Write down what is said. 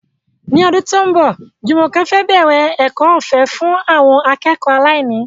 Ní ọdún tó ń bọ̀, Jumoke fẹ́ bẹ̀rẹ̀ ẹ̀kọ́ ọ̀fẹ́ fún àwọn akẹ́kọ̀ọ́ aláìní.